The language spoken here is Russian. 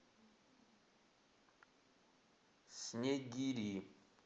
снегири